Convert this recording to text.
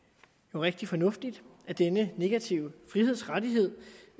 rigtig fornuftigt at denne negative frihedsrettighed